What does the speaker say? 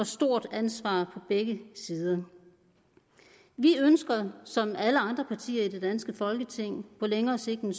stort ansvar på begge sider vi ønsker som alle andre partier i det danske folketing på længere sigt en